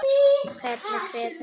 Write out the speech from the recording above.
Hvernig kveður maður vin?